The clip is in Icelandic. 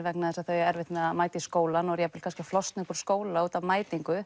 vegna þess að þau eiga erfitt með að mæta í skólann og jafn vel kannski að flosna upp úr skóla út af mætingu